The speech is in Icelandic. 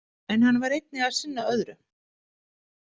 En hann var einnig að sinna öðru.